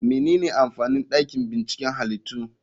Menene amfanin dakin binciken halittu?